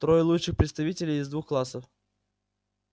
трое лучших представителей из двух классов